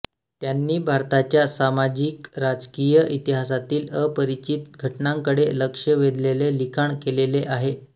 त्यांनी भारताच्या सामाजिकराजकीय इतिहासातील अपरिचित घटनांकडे लक्ष वेधलेले लिखाण केलेले आहे